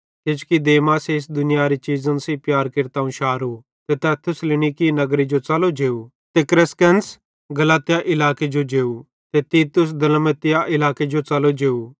किजोकि देमासे इस दुनियारी चीज़न सेइं प्यार केरतां अवं शारो ते तै थिस्सलुनीके नगरे जो च़लो जेव ते क्रेसकेंस गलातिया इलाके जो जेव ते तीतुस दलमतिया इलाके जो च़लो जेव